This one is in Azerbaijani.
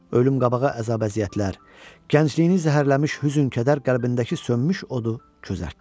Ölüm qabağı əzab-əziyyətlər, gəncliyini zəhərləmiş hüzn-kədər qəlbindəki sönmüş odu közərtdi.